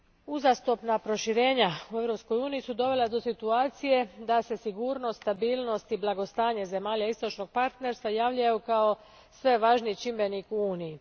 Uzastopna proširenja u Europskoj uniji su dovela do situacije da se sigurnost, stabilnost i blagostanje zemalja istočnog partnerstva javljaju kao sve važniji čimbenik u Uniji.